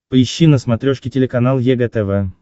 поищи на смотрешке телеканал егэ тв